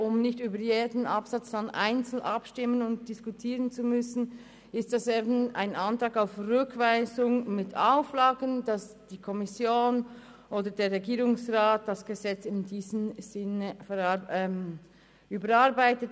Um nicht über jeden Absatz einzeln diskutieren und abstimmen zu müssen, ist es ein Rückweisungsantrag mit Auflagen, damit die Kommission oder der Regierungsrat das Gesetz in diesem Sinn überarbeitet.